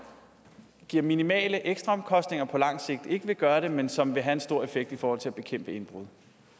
giver minimale ekstraomkostninger og på langt sigt ikke vil gøre det men som vil have en stor effekt i forhold til at bekæmpe indbrud